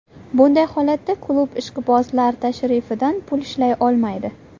Bunday holatda klub ishqibozlar tashrifidan pul ishlay olmaydi.